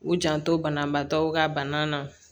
U janto banabaatɔw ka bana na